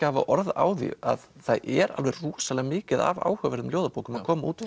hafa orð á því að það er rosalega mikið af áhugaverðum ljóðabókum að koma út